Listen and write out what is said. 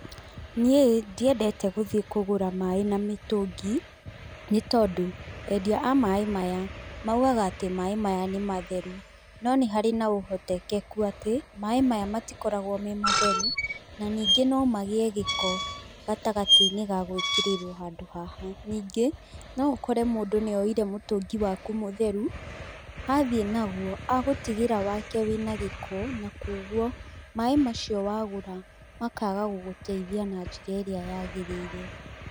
Niĩ ndiendete gũthiĩ kũgũra maaĩ na mĩtũngi, nĩ tondũ endia a maaĩ maya maugaga atĩ maaĩ maya nĩ matheru no nĩ harĩ na ũhoteteku atĩ maaĩ maya matikoragwo me matheru na ningĩ no magĩe gĩko gatagatĩ-inĩ ga gũĩkĩrĩrwo handũ haha. Ningĩ, no ũkore mũndu nĩ oire mũtũngi waku mutheru athiĩ naguo agũtigĩra wake wĩna gĩko na kuũgũo maaĩ macio wagũra makaga gũgũteithia na njĩra ĩrĩa yagĩrĩire.